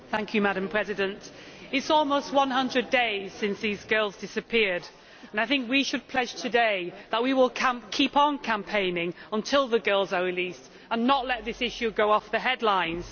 Madam President, it is almost one hundred days since these girls disappeared and I think we should pledge today that we will keep on campaigning until the girls are released and not let this issue go off the headlines.